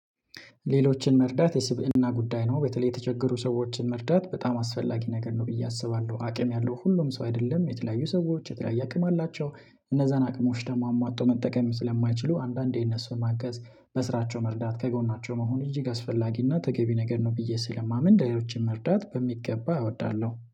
ሌሎችን መርዳት የስብዕና ጉዳይ ነው በተለይ የተቸገሩ ሰዎችን መርዳት በጣም አስፈላጊ ነገር ነው ብዬ አስባለሁ አቅም ያለው ሁሉም ሰው አይደለም የተለያዩ ሰዎች የተለያየ አቅም አላቸው እነዛን አቅሞች ደሞ አሟጦ መጠቀም ስለማይችሉ አንዳንዴ እነሱን ማገዝ በስራቸው መርዳት ከጎናቸው መሆን እጅግ አስፈላጊና ተገቢ ነገር ነው ብዬ ስለማምን ሌሎችን መርዳት በሚገባ እወዳለሁ